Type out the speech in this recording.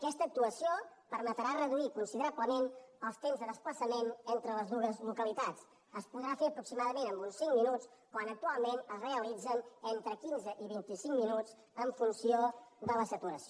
aquesta actuació permetrà reduir considerablement els temps de desplaçament entre les dues localitats es podrà fer aproximadament amb uns cinc minuts quan actualment es realitza entre quinze i vint i cinc minuts en funció de la saturació